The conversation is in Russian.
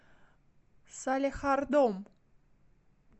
салехардом